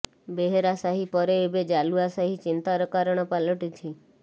ବେହେରାସାହି ପରେ ଏବେ ଜାଲୁଆ ସାହି ଚିନ୍ତାର କାରଣ ପାଲଟିଛି